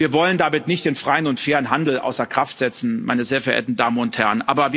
Wir wollen damit nicht den freien und fairen Handel außer Kraft setzen, meine sehr verehrten Damen und Herren.